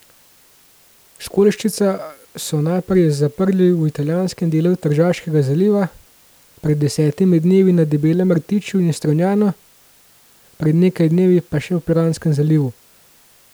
Školjčišča so najprej zaprli v italijanskem delu Tržaškega zaliva, pred desetimi dnevi na Debelem rtiču in v Strunjanu, pred nekaj dnevi pa še v Piranskem zalivu.